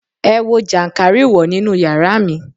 Ẹ wo jànkárìwọ̀ nínú yàrá mi.